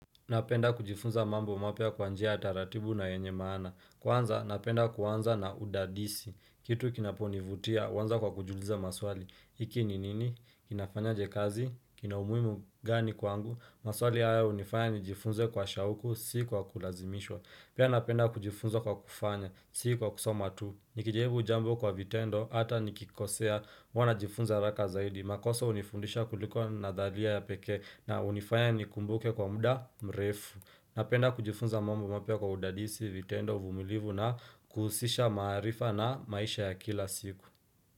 Napenda kujifunza mambo mapya kwanjia taratibu na yenye maana. Kwanza, napenda kuanza na udadisi. Kitu kinaponivutia, uanza kwa kujiuliza maswali. Iki ni nini? Kinafanya je kazi? Kina umuimu gani kwangu? Maswali haya unifanya nijifunze kwa shauku, si kwa kulazimishwa. Pia napenda kujifunza kwa kufanya, si kwa kusoma tu. Nikijaibu jambo kwa vitendo, ata nikikosea, huana jifunza araka zaidi. Makosa unifundisha kuliko nadhalia ya pekee na unifanya nikumbuke kwa muda mrefu. Napenda kujifunza mambo mapya kwa udadisi vitendo uvumilivu na kuusisha maarifa na maisha ya kila siku.